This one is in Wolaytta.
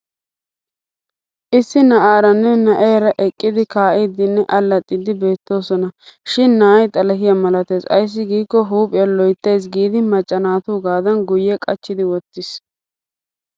Issi na'aaranne na'eera eqqidi kaa'iiddinne allaxxiiddi beettoosona. Shin na'ay xalahiya malatees ayssi giikko huuphiya loyittaasi giidi macca naatuugaadan guyye qachchi wottis.